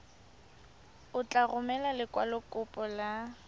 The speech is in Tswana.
o tla romela lekwalokopo la